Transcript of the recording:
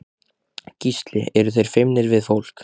Gísli: Eru þeir feimnir við fólk?